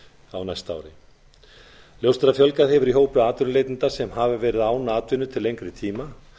á næsta ári ljóst er að fjölgað hefur í hópi atvinnuleitenda sem hafa verið án atvinnu til lengri tíma